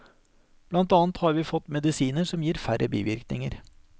Blant annet har vi fått medisiner som gir færre bivirkninger.